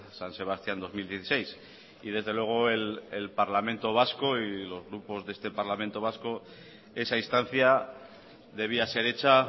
san sebastián dos mil dieciséis y desde luego el parlamento vasco y los grupos de este parlamento vasco esa instancia debía ser hecha